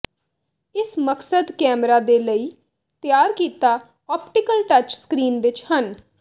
ਇਸ ਮਕਸਦ ਕੈਮਰਾ ਦੇ ਲਈ ਤਿਆਰ ਕੀਤਾ ਆਪਟੀਕਲ ਟੱਚ ਸਕਰੀਨ ਵਿੱਚ ਹਨ